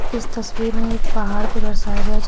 इस तस्वीर में एक पहाड़ को दर्शाया गया।